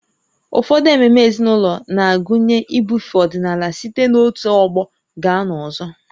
Ụfọdụ ememe ezinụlọ na-agụnye ibufe ọdịnala site n'otu ọgbọ gaa n'ọzọ